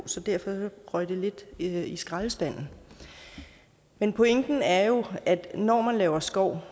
så derfor røg det i skraldespanden men pointen er jo at når man laver skov